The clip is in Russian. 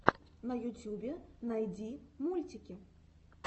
на ютюбе найди мультики